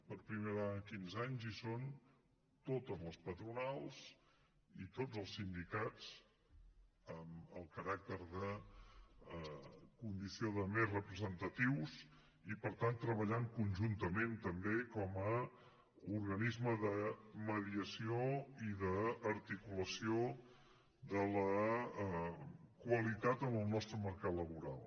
per primera vegada en quinze anys hi són totes les patronals i tots els sindicats amb el caràcter de condició de més representatius i per tant treballant conjuntament també com a organisme de mediació i d’articulació de la qualitat en el nostre mercat laboral